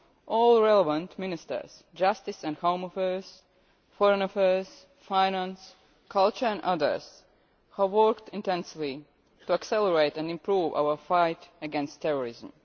All relevant ministers justice and home affairs, foreign affairs, finance, culture and others have worked intensely to accelerate and improve our fight against terrorism.